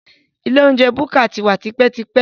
Ilé oúnjẹ búkà ti wà tipẹ́tipẹ́